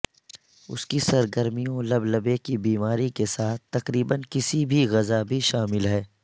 اس کی سرگرمیوں لبلبے کی بیماری کے ساتھ تقریبا کسی بھی غذا بھی شامل ہے